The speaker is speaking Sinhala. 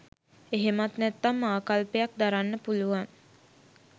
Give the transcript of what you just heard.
එහෙමත් නැත්නම් ආකල්පයක් දරන්න පුළුවන්.